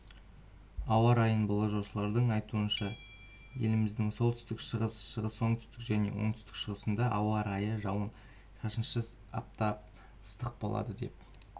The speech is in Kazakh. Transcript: ауа райын болжаушылардың айтуынша еліміздің солтүстік-шығыс шығыс оңтүстік және оңтүстік-шығысында ауа райы-жауын шашынсыз аптап ыстық боладыдеп